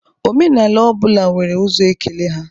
Omenala ọ bụla nwere ụzọ ekele ha